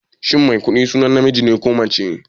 Shin Maikuɗi sunan namiji ne ko mace?